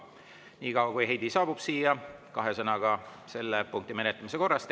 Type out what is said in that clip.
Niikaua kui Heidy siia saabub, kahe sõnaga selle punkti menetlemise korrast.